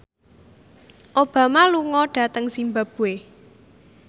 Obama lunga dhateng zimbabwe